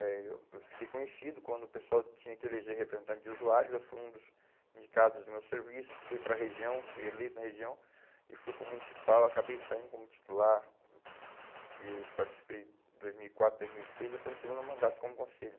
Eh eu eu fiquei conhecido quando o pessoal tinha que eleger representante de usuários, eu fui um dos indicados do meu serviço, fui para a região, fui eleito na região e fui para o municipal, acabei saindo como titular e participei em dois mil e quatro, dois mil e seis e estou no segundo mandato como conselho.